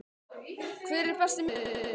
Hver er Besti miðjumaðurinn?